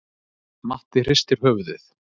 Matti hristir höfuðið.